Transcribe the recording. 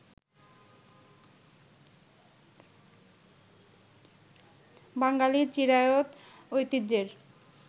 বাঙ্গালির চিরায়ত ঐতিহ্যের